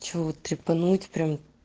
че вот трипануть прям